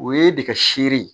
O ye nɛgɛ seere ye